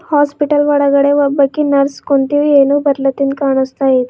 Hospital ಒಳಗಡೆ ಒಬ್ಬಾಕಿ nurse ಕುಂತಿವಿ ಏನೋ ಬರೀಲಾತಿದ್ ಕಾಣಿಸ್ತಾ ಇದೆ.